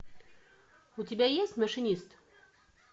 у тебя есть машинист